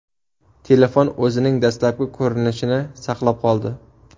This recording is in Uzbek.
Telefon o‘zining dastlabki ko‘rinishini saqlab qoldi.